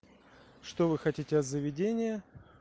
что вы хотите от заведения